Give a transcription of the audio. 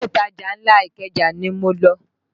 Ilé ìtajà ńlá Ikeja ni mo lọ